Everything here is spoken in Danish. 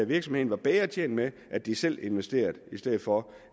virksomheden var bedre tjent med at de selv investerede i stedet for